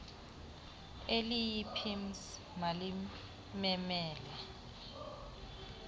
eliyi pims malimemele